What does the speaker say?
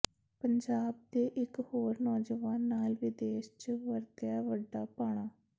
ਪੰਜਾਬ ਦੇ ਇੱਕ ਹੋਰ ਨੌਜਵਾਨ ਨਾਲ ਵਿਦੇਸ਼ ਚ ਵਰਤਿਆ ਵੱਡਾ ਭਾਣਾ